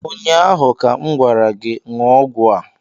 Ụnyaahụ ka m gwara gị, ṅụọ ọgwụ a!